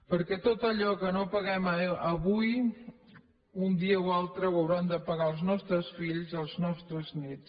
perquè tot allò que no paguem avui un dia o altre ho hauran de pagar els nostres fills els nostres néts